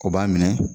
O b'a minɛ